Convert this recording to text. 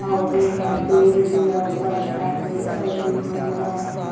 और इहां पेड़ भी लउकत आवे और इ हमरा इहां --